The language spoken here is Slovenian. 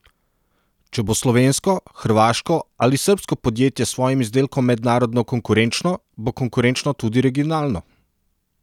Če bo slovensko, hrvaško ali srbsko podjetje s svojim izdelkom mednarodno konkurenčno, bo konkurenčno tudi regionalno.